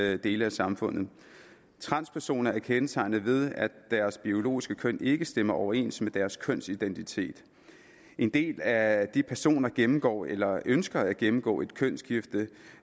alle dele af samfundet transpersoner er kendetegnet ved at deres biologiske køn ikke stemmer overens med deres kønsidentitet en del af de personer gennemgår eller ønsker at gennemgå et kønsskifte